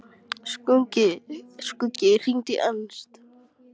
Skuggi, hringdu í Ernst.